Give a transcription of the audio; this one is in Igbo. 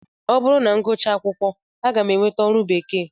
Ọ bụrụ na m gụchaa akwụkwọ, aga m enweta ọrụ bekee